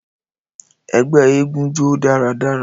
Ẹgbẹ egúngún jó daradara